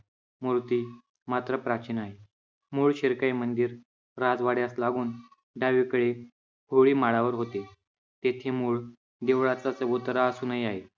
मूर्ती मात्र प्राचीन आहे. मूळ शिरकाई मंदिर राजवाड्यास लागून डावीकडे होळी माळावर होते. तेथे मूळ देवळाचा चबुतरा अजूनही आहे.